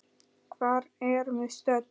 Hvar erum við stödd?